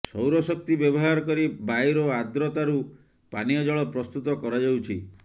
ସୌର ଶକ୍ତି ବ୍ୟବହାର କରି ବାୟୁର ଆର୍ଦ୍ରତାରୁ ପାନୀୟ ଜଳ ପ୍ରସ୍ତୁତ କରାଯାଉଛି